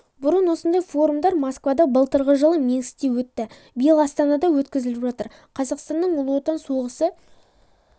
бұрын осындай форумдар москвада былтырғы жылы минскте өтті биыл астанада өткізіп жатыр қазақстанның ұлы отан соғысы